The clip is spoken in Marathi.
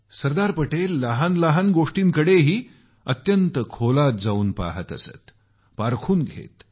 सरदार पटेल लहान लहान गोष्टींकडेही अत्यंत खोलात जाऊन पहात असत पारखून घेत